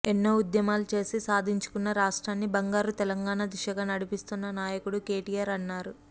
ఎన్నో ఉద్యమాలు చేసి సాధించుకున్న రాష్ట్రాన్ని బంగారు తెలంగాణ దిశగా నడిపిస్తున్న నాయకుడు కేటీఆర్ అన్నారు